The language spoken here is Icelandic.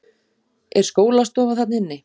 Er skólastofa þarna inni?